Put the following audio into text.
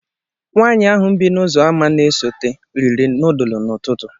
Nwanyị ahụ bi n'uzoama n'esote, riri nudulu n'ututu